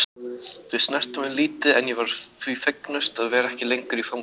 Þau snertu mig lítið en ég var því fegnust að vera ekki lengur í fangelsi.